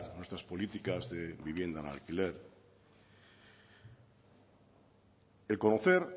nuestras políticas de vivienda en alquiler reconocer